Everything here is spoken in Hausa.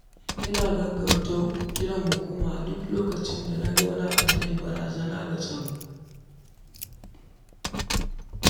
Ina gaggauta kiran hukuma a duk lokacin da na ga wani abu da yake barazana ga tsaro.